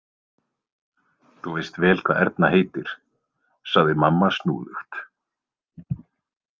Þú veist vel hvað Erna heitir, sagði mamma snúðugt.